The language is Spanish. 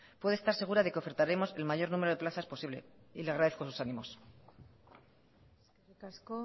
puede estar segura de que ofertaremos el mayor número de plazas posibles le agradezco sus ánimos eskerrik asko